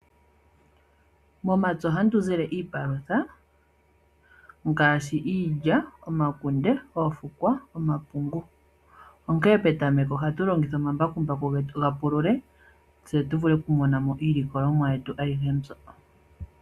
Momapya ohamu tu zile iipalutha ngashi iilya, omakunde, oofukwa, oomapungu, onkee petameko ohatu longitha omambakumbaku getu ga pulule, tse tu vule kumonamo iilikolomwayetu ayihe mbyo.